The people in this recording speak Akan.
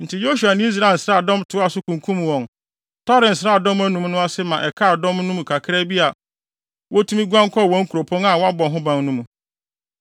Enti Yosua ne Israel nsraadɔm toaa so kunkum wɔn, tɔree nsraadɔm anum no ase ma ɛkaa dɔm no kakraa bi a wotumi guan kɔɔ wɔn nkuropɔn a wɔabɔ ho ban no mu.